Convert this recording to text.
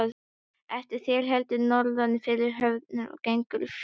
Eftir það héldu þeir norður fyrir höfnina og gengu fjörur.